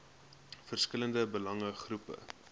verskillende belange groepe